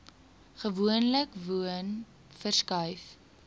gewoonlik woon verskuif